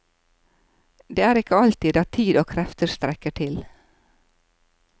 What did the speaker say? Det er ikke alltid at tid og krefter strekker til.